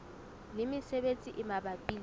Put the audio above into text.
le mesebetsi e mabapi le